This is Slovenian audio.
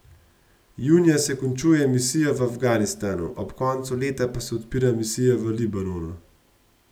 Junija se končuje misija v Afganistanu, ob koncu leta pa se odpira misija v Libanonu.